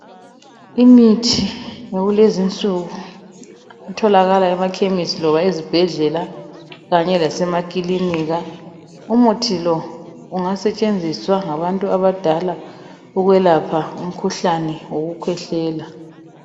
Imithi etholakala esibhedlela kanye lasemakhemisi , umuthi lo ungasetshenziswa ngabantu abadala ukwelapha umkhuhlane .